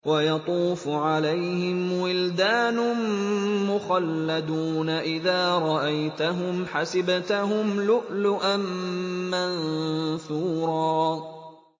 ۞ وَيَطُوفُ عَلَيْهِمْ وِلْدَانٌ مُّخَلَّدُونَ إِذَا رَأَيْتَهُمْ حَسِبْتَهُمْ لُؤْلُؤًا مَّنثُورًا